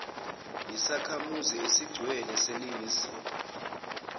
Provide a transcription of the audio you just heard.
yisakhamuzi esigcwele seningizimu